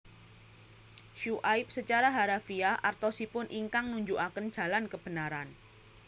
Syu aib secara harafiah artosipun Ingkang nunjukaken Jalan Kebenaran